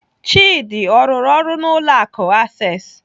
Chidi ọ rụrụ ọrụ n'ụlọ akụ Access?